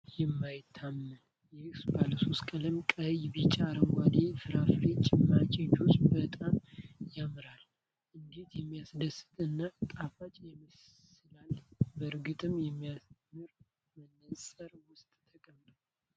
የማይታመን! ይህ ባለሶስት ቀለም (ቀይ፣ ቢጫ፣ አረንጓዴ) ፍራፍሬ ጭማቂ (ጁስ) በጣም ያምራል! እንዴት የሚያድስ እና ጣፋጭ ይመስላል! በእርግጥም የሚያምር መነጽር ውስጥ ተቀምጧል።